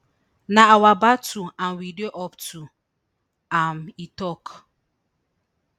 na our battle and we dey up to am e tok